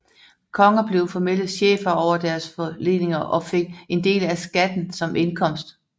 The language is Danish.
Konger blev formelle chefer over deres forleninger og fik en del af skatten som indkomst